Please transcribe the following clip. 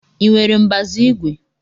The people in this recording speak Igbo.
Ị nwere mbazu igwe?